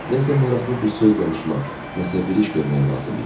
Nəsə maraqlı bir söz danışmaq, nəsə bir iş görmək lazım idi.